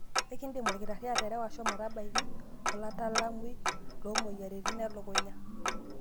Enkidim olkitari aterewa shomo tabaiki olataalamui loomoyiaritin elukunya.